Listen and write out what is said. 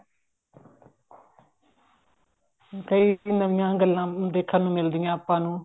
ਕਈ ਨਵੀਆਂ ਗੱਲਾਂ ਦੇਖਣ ਨੂੰ ਮਿਲਦੀਆਂ ਹੈ ਆਪਾਂ ਨੂੰ